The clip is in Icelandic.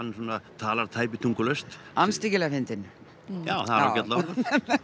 talar tæpitungulaust andstyggilega fyndinn já það er ágætlega orðað